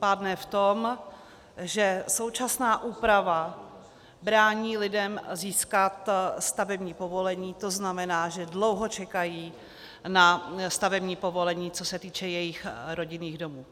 Pádné v tom, že současná úprava brání lidem získat stavební povolení, to znamená, že dlouho čekají na stavební povolení, co se týče jejich rodinných domů.